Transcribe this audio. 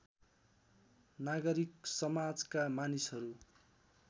नागरिक समाजका मानिसहरू